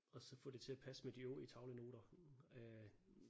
Og så få det til at passe med de øvrige tavlenoter øh